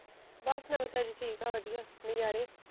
ਬਸ ਨਵੀ ਤਾਜੀ ਠੀਕ ਐ ਵਧੀਆ ਨਜਾਰੇ।